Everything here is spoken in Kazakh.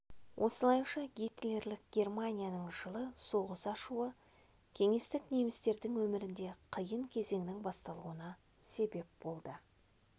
осылайша гитлерлік германияның жылы соғыс ашуы кеңестік немістердің өмірінде қиын кезеңнің басталуына себеп болды